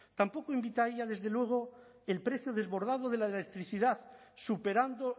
tampoco invitaría desde luego el precio desbordado de la electricidad superando